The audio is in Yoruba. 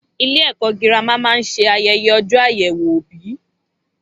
Ilé ẹ̀kọ́ girama máa ń ṣe ayẹyẹ ọjọ́ àyèwò òbí